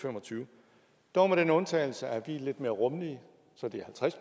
og tyve dog med den undtagelse at vi er lidt mere rummelige så det er halvtreds